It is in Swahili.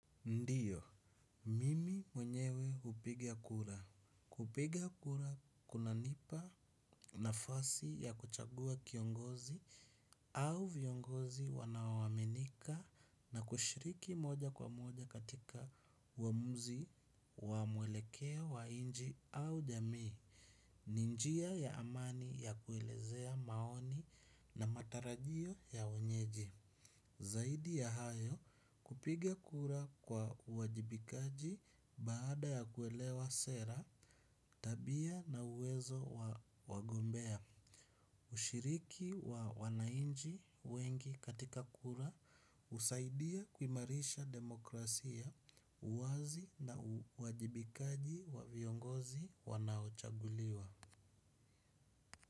Ndiyo, mimi mwenyewe hupiga kura. Kupiga kura kunanipa nafasi ya kuchagua kiongozi au viongozi wanaoaminika na kushiriki moja kwa moja katika uamuzi wa mwelekeo wa nchi au jamii. Ni njia ya amani ya kuelezea maoni na matarajio ya wenyeji. Zaidi ya hayo kupiga kura kwa uwajibikaji baada ya kuelewa sera, tabia na uwezo wa wagombea. Ushiriki wa wananchi wengi katika kura husaidia kumairisha demokrasia, uwazi na uwajibikaji wa viongozi wanaochaguliwa.